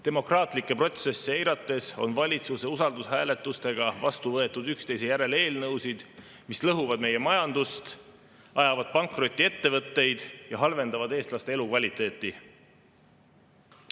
Demokraatlikke protsesse eirates on valitsuse usaldushääletusega üksteise järel vastu võetud eelnõusid, mis lõhuvad meie majandust, ajavad pankrotti ettevõtteid ja halvendavad eestlaste elukvaliteeti.